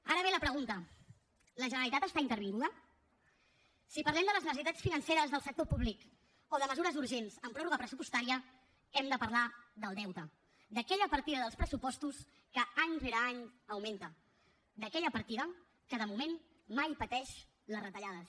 ara ve la pregunta la generalitat està intervinguda si parlem de les necessitats financeres del sector públic o de mesures urgents amb pròrroga pressupostària hem de parlar del deute d’aquella partida dels pressupostos que any rere any augmenta d’aquella partida que de moment mai pateix les retallades